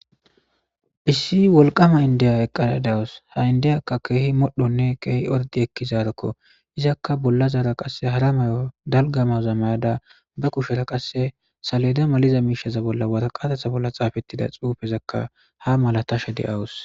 Issi wolqama indiya eqqada de'awus ha indiyaka keehi modhonne keehi ordi ekkizaroko izakka bollazara qasse hara mayo dalga mayoza mayada be kushera qasse saleda maliza miisheza bolla waraqataza bolla xaafetida xuufezaka haa malaatashe de'awus.